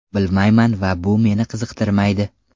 Bilmayman va bu meni qiziqtirmaydi.